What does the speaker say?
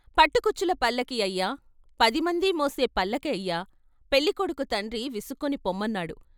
పట్టుకుచ్చుల పల్లకీ అయ్యా పదిమంది మోసే పల్లకీ అయ్యా " పెళ్ళికొడుకు తండ్రి విసుక్కుని పొమ్మన్నాడు.